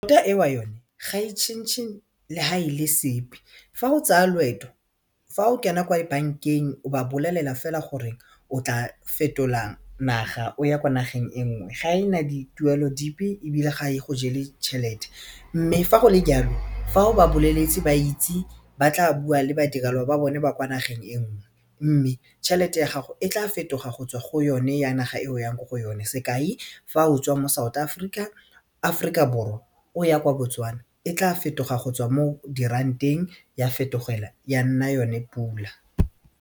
ga e tšhentšhe le ha e le sepe fa o tsaya loeto fa o kena kwa bank-eng o ba bolelela fela gore o tla fetola naga o ya ko nageng e nngwe ga ena dituelo dipe ebile ga e go jele tšhelete mme fa go le jalo fa o ba boleletse ba itse ba tla bua le badirelo ba bone ba kwa nageng enngwe, mme tšhelete ya gago e tla fetoga go tswa go yone ya naga e o yang ko go yone sekai fa o tswa mo South Africa Aforika Borwa o ya kwa Botswana e tla fetoga go tswa mo diranteng ya fetogela ya nna yone pula.